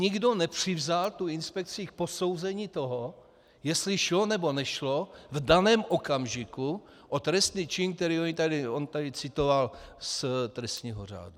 Nikdo nepřizval tu inspekci k posouzení toho, jestli šlo, nebo nešlo v daném okamžiku o trestný čin, který on tady citoval z trestního řádu.